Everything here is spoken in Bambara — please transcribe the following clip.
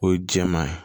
O ye jɛman ye